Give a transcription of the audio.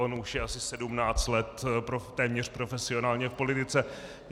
On už je asi sedmnáct let téměř profesionálně v politice.